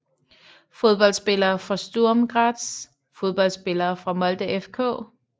Fodboldspillere fra Sturm Graz Fodboldspillere fra Molde FK